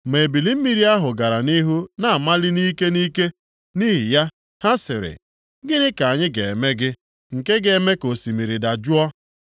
Ma ebili mmiri ahụ gara nʼihu na-amali nʼike nʼike. Nʼihi ya, ha sịrị, “Gịnị ka anyị ga-eme gị, nke ga-eme ka osimiri dajụọ?”